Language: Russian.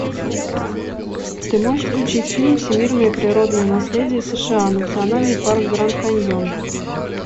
ты можешь включить фильм всемирное природное наследие сша национальный парк гранд каньон